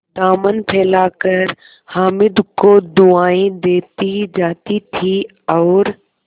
दामन फैलाकर हामिद को दुआएँ देती जाती थी और